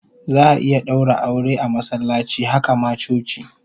Za'a iya daura aure a masallaci, haka ma coci